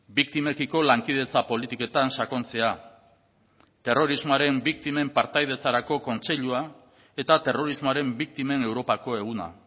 biktimekiko lankidetza politiketan sakontzea terrorismoaren biktimen partaidetzarako kontseilua eta terrorismoaren biktimen europako eguna